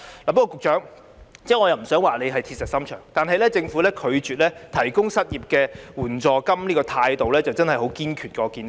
局長，我不想說你是鐵石心腸，但政府過去拒絕提供失業援助金的態度真的很堅決。